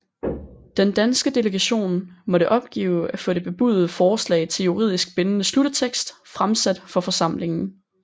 Den danske delegation måtte opgive at få det bebudede forslag til juridisk bindende sluttekst fremsat for forsamlingen